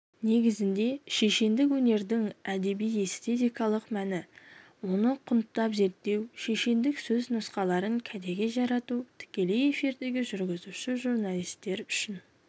негізінде шешендік өнердің әдеби-эстетикалық мәні оны құнттап-зерттеу шешендік сөз нұсқаларын кәдеге жарату тікелей эфирдегі жүргізуші журналистер үшін